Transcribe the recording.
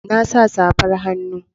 Na sa safar hannu.